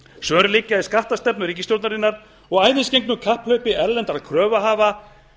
svör liggja í skattastefnu ríkisstjórnarinnar og æðisgengnu kapphlaupi erlendra kröfuhafa